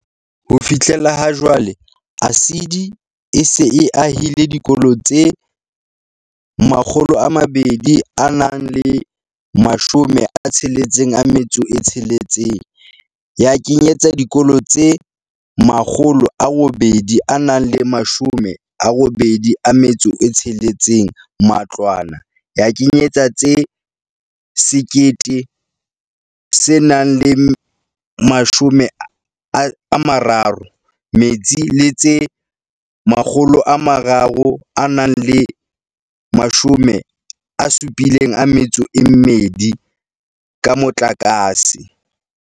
Ho fihla ha jwale, ASIDI e se e ahile dikolo tse 266, ya kenyetsa dikolo tse 886 matlwana, ya kenyetsa tse 1030 metsi le tse 372 ka motlakase.